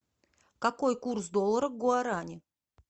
какой курс доллара к гуарани